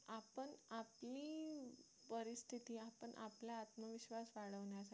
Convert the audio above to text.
पण आपला आत्मविश्वास वाढवण्यासाठी